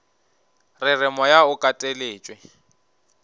re re moya o kateletšwe